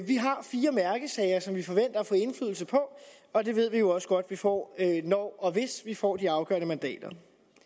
vi har fire mærkesager som vi forventer at få indflydelse på og det ved vi jo også godt at vi får når og hvis vi får de afgørende mandater